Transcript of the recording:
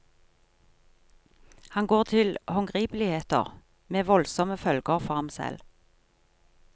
Han går til håndgripeligheter, med voldsomme følger for ham selv.